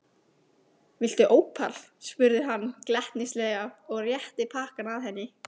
Viltu ópal? spurði hann glettnislega og rétti pakkann að henni.